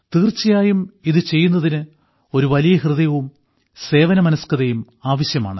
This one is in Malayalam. തീർച്ചയായും ഇത് ചെയ്യുന്നതിന് ഒരു വലിയ ഹൃദയവും സേവനമനസ്കതയും ആവശ്യമാണ്